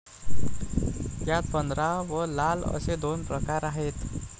यात पंधरा व लाल असे दोन प्रकार आहेत.